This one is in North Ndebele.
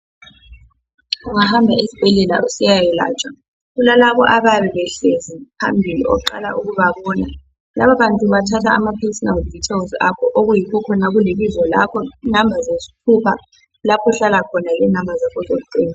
Ungahamba esibhedlela usiya yelatshwa kulabantu abayabe behleli phambili oqala ukubabona. Labo bantu bathatha ama personal details akho okuyikho khona kulibizo lakho, inamba zesithupha, lapho ohlala khona lenamba zakho zocingo.